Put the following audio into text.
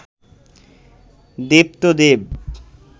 দেব তো দেব